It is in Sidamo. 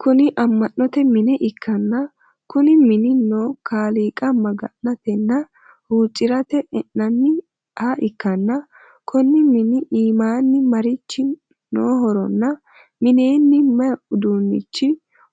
Kuni ammanote mine ikkanna Kuni mini no kaaliiqa magnatenna huucirate enanniha ikkanna Konni mini iimaanni marchi nohoronna mineeni mayii uduunicho